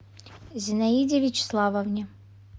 зинаиде вячеславовне